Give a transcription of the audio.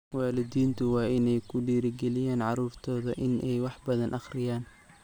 Waalidiintu waa inay ku dhiirigeliyaan carruurtooda inay wax badan akhriyaan.